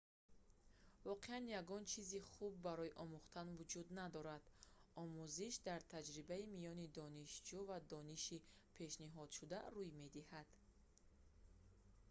воқеан ягон чизи хуб барои омӯхтан вуҷуд надорад омӯзиш дар таҷрибаи миёни донишҷӯ ва дониши пешниҳодшуда рӯй медиҳад